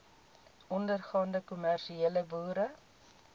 ondergaande kommersiële boere